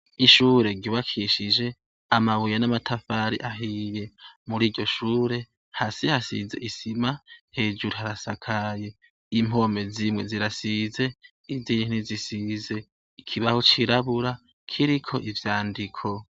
Ishure ryubakishije amabuye n'amatafari ahiye, muriryo shure hasi hasize isima hejuru harasakaye, impome zimwe zirasize nizindi zisize, ikibaho cirabura kiriko ivyandiko.